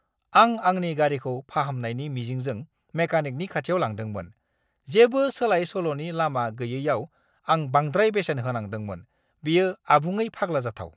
आं आंनि गारिखौ फाहामनायनि मिजिंजों मेकानिकनि खाथियाव लांदोंमोन, जेबो सोलाय-सोल'नि लामा गैयैआव आं बांद्राय बेसेन होनांदोंमोन। बेयो आबुङै फाग्ला जाथाव!